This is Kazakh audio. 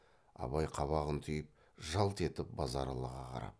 абай қабағын түйіп жалт етіп базаралыға қарап